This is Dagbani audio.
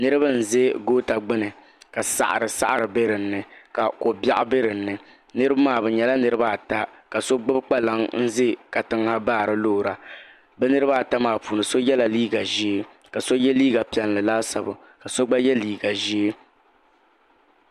Niriba n-ʒe gota gbuni ka saɣiri saɣiri be dini ka kobiɛɣu be dini niriba maa bɛ nyɛla niriba ata ka so gbubi kpalaŋa n-ʒe katiŋa ha baari loora bɛ niriba ata maa puuni so yela liiga ʒee ka so ye liiga piɛlli laasabu ka so gba ye liiga ʒee.